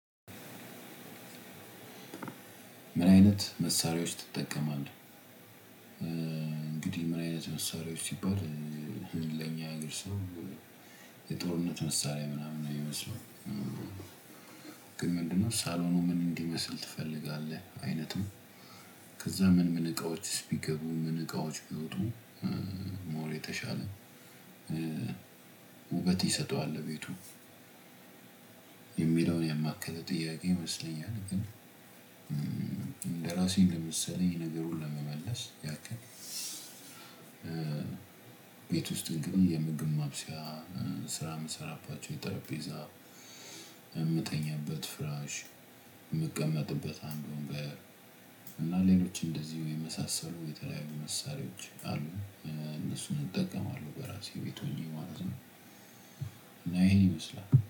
ምን አይነት መሳሪያዎች ትጠቀማለህ? እንግዲህ ምን አይነት መሳሪያዎች ሲባል ለኛ ሀገር ሰው የጦርነት መሳሪያ ምናምን የሚመስለው። ግን ምንድነው ሳሎኑ ምን እንዲመስል ትፈልጋለህ? አይነቱ። ከዛ ምን ምን እቃዎችስ ቢገቡ ምን እቃዎች ቢወጡ? ሞር የተሻለ ውበት ይሰጠዋል ለቤቱ። የሚለውን ያማከለ ጥያቄ ይመስለኛል ግን ለራሴ እንደመሰለኝ ነገሩን ለመመለስ ያክል። ቤት ውስጥ ምግብም የምግብ ማብሰያ ስራ የምሰራባቸው የጠረጴዛ የምተኛበት ፍራሽ የምቀመጥበት አንድ ወንበር እና ሌሎች እንደዚሁ የመሳሰሉ የተለያዩ መሳሪያዎች አሉ እነሱን እጠቀማለሁ በራሴ ቤት ሆኜ ማለት ነው። እና ይሄን ይመስላል